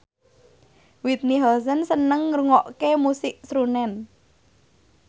Whitney Houston seneng ngrungokne musik srunen